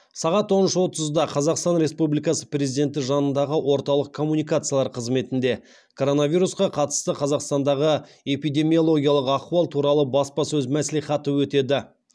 сағат он үш отызда қазақстан республикасы президенті жанындағы орталық коммуникациялар қызметінде коронавирусқа қатысты қазақстандағы эпидемиологиялық ахуал туралы баспасөз мәслихаты өтеді